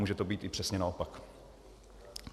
Může to být i přesně naopak.